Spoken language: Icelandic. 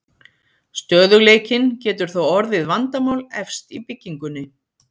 Stöðugleikinn getur þó orðið vandamál efst í byggingunni.